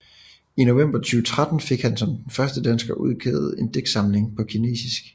I november 2013 fik han som den første dansker udgivet en digtsamling på kinesisk